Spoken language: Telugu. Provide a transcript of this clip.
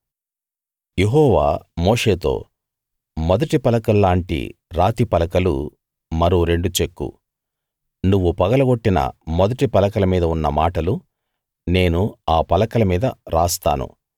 యెహోవా మోషేతో మొదటి పలకల్లాంటి రాతి పలకలు మరో రెండు చెక్కు నువ్వు పగలగొట్టిన మొదటి పలకల మీద ఉన్న మాటలు నేను ఆ పలకల మీద రాస్తాను